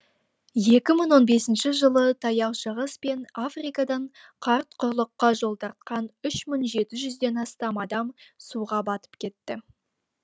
екі мың он бесінші жылы таяу шығыс пен африкадан қарт құрлыққа жол тартқан үш мың жеті жүзден астам адам суға батып кетті